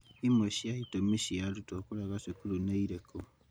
Imwe cia itũmi cia arutwo kũrega cukuru nĩ irĩkũ?